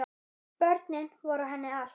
Börnin voru henni allt.